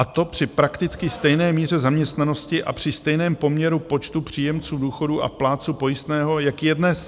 A to při prakticky stejné míře zaměstnanosti a při stejném poměru počtu příjemců důchodů a plátců pojistného, jaký je dnes.